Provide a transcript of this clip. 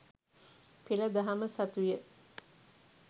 පෙළ දහම සතුය.